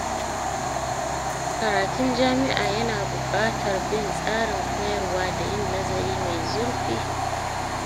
Karatun jami’a yana buƙatar bin tsarin koyarwa da yin nazari mai zurfi.